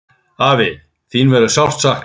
Afi, þín verður sárt saknað.